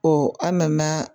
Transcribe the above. an nana